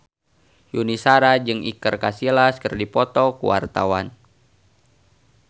Yuni Shara jeung Iker Casillas keur dipoto ku wartawan